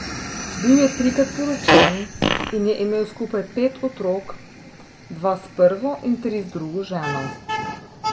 Bil je trikrat poročen in je imel skupaj pet otrok, dva s prvo in tri z drugo ženo.